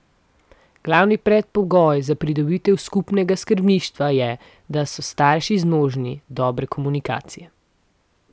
Glavni predpogoj za pridobitev skupnega skrbništva je, da so starši zmožni dobre komunikacije.